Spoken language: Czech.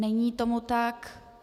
Není tomu tak.